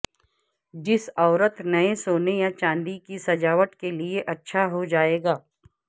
جس عورت نئے سونے یا چاندی کی سجاوٹ کے لئے اچھا ہو جائے گا